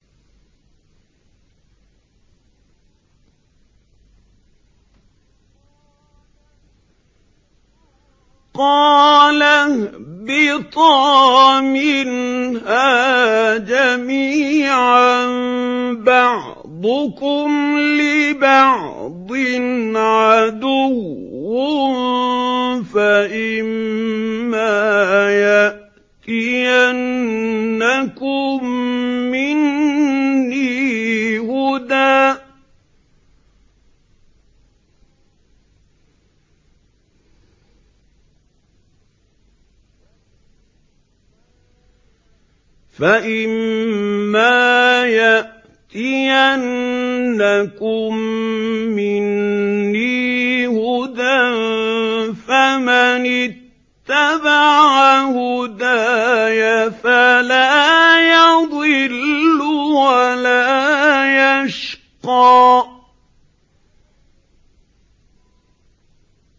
قَالَ اهْبِطَا مِنْهَا جَمِيعًا ۖ بَعْضُكُمْ لِبَعْضٍ عَدُوٌّ ۖ فَإِمَّا يَأْتِيَنَّكُم مِّنِّي هُدًى فَمَنِ اتَّبَعَ هُدَايَ فَلَا يَضِلُّ وَلَا يَشْقَىٰ